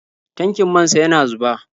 Tankin man sa yana zuba.